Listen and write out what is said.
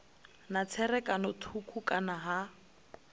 na tserakano thukhu kana ha